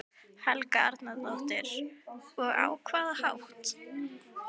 Helga Arnardóttir: Og á hvaða hátt?